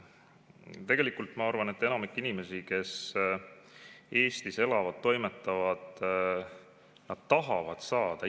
Tegelikult, ma arvan, enamik inimesi, kes Eestis elavad ja toimetavad, tahavad ise hakkama saada.